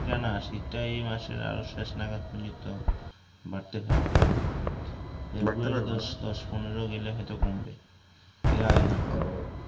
এইটা না শীতটা আরো এই মাসের আরো শেষ নাগাদ পর্যন্ত বাড়তে পারে বাড়তে পারবে না? এই মাসের দশ পনেরো গেলে হয়ত কমবে এর আগে না